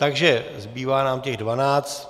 Takže zbývá nám těch dvanáct.